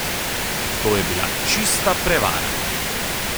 To je bila čista prevara!